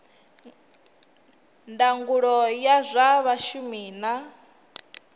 ndangulo ya zwa vhashumi na